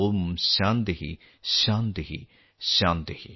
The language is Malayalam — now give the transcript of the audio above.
ഓം ശാന്തിഃ ശാന്തിഃ ശാന്തിഃ